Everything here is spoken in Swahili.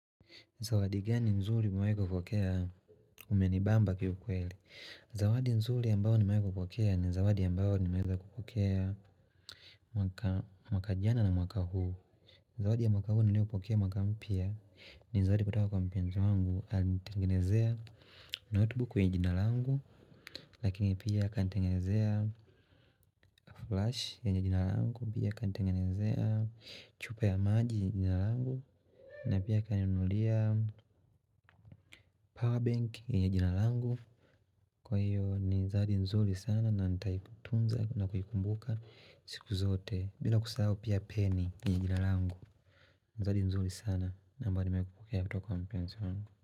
Zawadi gani nzuri umewai kupokea umenibamba kiukweli. Zawadi nzuri ambayo nimewai kupokea ni zawadi ambayo ni meweza kupokea mwaka jana na mwaka huu. Zawadi ya mwaka huu niliyopokea mwaka mpya ni zawadi kutoka kwa mpenzi wangu. Alitnitengenezea notebook yenye jina langu lakini pia kanitengenezea flash yenye jina langu pia kanitengenezea chupa ya maji yenye jina langu na pia kaninunulia powerbank yenye jina langu. Kwa hiyo ni zawadi nzuri sana na nitaitunza na kuikumbuka siku zote bila kusahao pia peni ni jina langu ni zawadi nzuri sana na ambayo nimepokea kutoka wa mpenzi wangu.